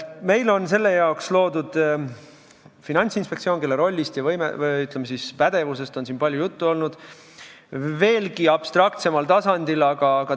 Meil on selle jaoks loodud Finantsinspektsioon, kelle rollist ja, ütleme, pädevusest on siin palju juttu olnud veelgi abstraktsemal tasandil.